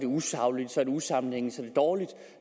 usagligt usammenhængende og dårligt